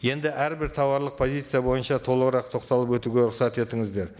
енді әрбір тауарлық позиция бойынша толығырақ тоқталып өтуге рұқсат етіңіздер